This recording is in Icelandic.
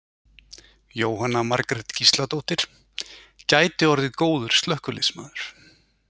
Jóhanna Margrét Gísladóttir: Gæti orðið góður slökkviliðsmaður?